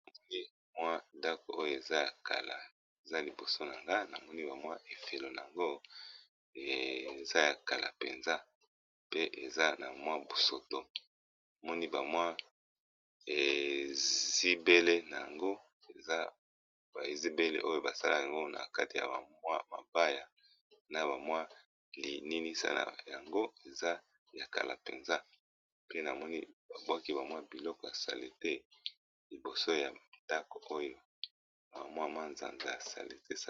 namoni bamwa ndako oyo eza ya kala eza liboso na nga namoni bamwa efelo na yango eza ya kala mpenza pe eza na mwa busoto nmoni bamwa ezibele na yango eza baezibele oyo basala yango na kati ya bamwa mabaya na bamwa lininisana yango eza ya kala mpenza pe namoni babwaki bamwa biloko ya salete liboso ya ndako oyo na bamwa mwa zanza ya sale te